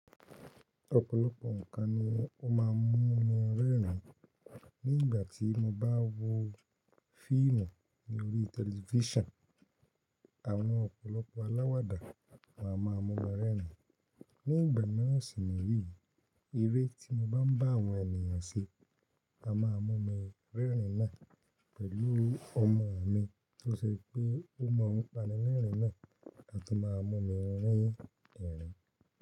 Ọ̀pọ̀lọpọ̀ ǹkan ni ó má a mún mi rẹ́rìn. Ní ìgbà tí mo bá wo fíìmù lórí tẹlifísàn, àwọn ọ̀pọ̀lọpọ̀ aláwàdá a ma mú mi rẹ́rìn. Ní ìgbà miran sì ni yí, eré tí mo bá ń bá àwọn ènìyàn ṣe, a má a mú mi rẹ́rìn náà pẹ̀lú ọmọ mi tó ṣe pé ó mọ n panilẹ́rìn náà, a tun má a mú mi rin ẹ́rìn.